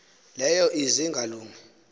leyo ize ingalungi